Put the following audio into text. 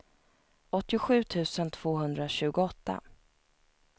åttiosju tusen tvåhundratjugoåtta